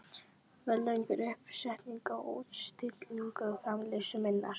verðlaun fyrir uppsetningu og útstillingu framleiðslu minnar.